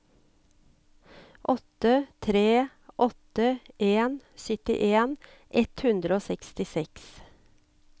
åtte tre åtte en syttien ett hundre og sekstiseks